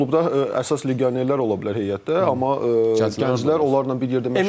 Məsəl üçün klubda əsas legionerlər ola bilər heyətdə, amma gənclər onlarla bir yerdə məşq eləyəcək.